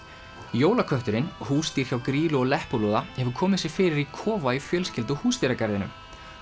jólakötturinn húsdýr hjá Grýlu og Leppalúða hefur komið sér fyrir í kofa í fjölskyldu og húsdýragarðinum